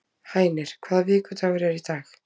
Hænir, hvaða vikudagur er í dag?